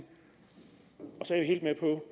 så